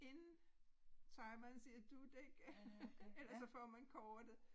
Inden timeren siger dut ik ellers så får man kortet